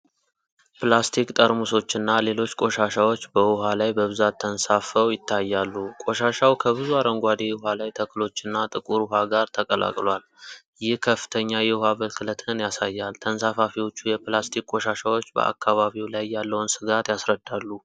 ፕላስቲክ ጠርሙሶችና ሌሎች ቆሻሻዎች በውሃ ላይ በብዛት ተንሳፍፈው ይታያሉ። ቆሻሻው ከብዙ አረንጓዴ የውሃ ላይ ተክሎችና ጥቁር ውሃ ጋር ተቀላቅሏል። ይህ ከፍተኛ የውሃ ብክለትን ያሳያል። ተንሳፋፊዎቹ የፕላስቲክ ቆሻሻዎች በአካባቢው ላይ ያለውን ስጋት ያስረዳሉ።